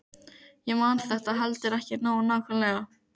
Ég man þetta heldur ekki nógu nákvæmlega.